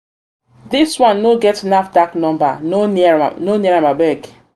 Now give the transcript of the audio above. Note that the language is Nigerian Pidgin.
this one no get nafdac number; no near no near am abeg.